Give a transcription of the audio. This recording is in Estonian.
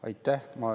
Aitäh!